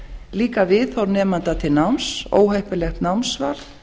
líka viðhorf nemanda til náms óheppilegt námsval